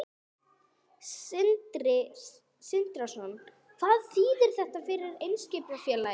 Sindri Sindrason: Hvað þýðir þetta fyrir Eimskipafélagið?